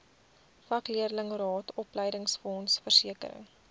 vakleerlingraad opleidingsfonds versekering